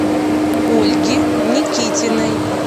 ольги никитиной